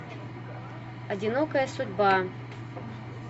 одинокая судьба